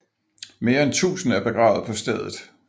Mere end 1000 er begravet på stedet